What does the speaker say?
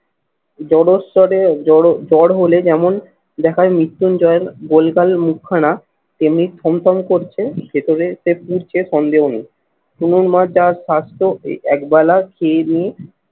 জলস্তরে জ্বর হলে যেমন দেখায় মৃত্যুঞ্জয় গোলগাল মুখ খানা তেমনি থমথম করছে ভেতরে সে পুরছে সন্দেহ নেই। তনুর মার যার স্বাস্থ্য এই একবেলা খেয়ে নিই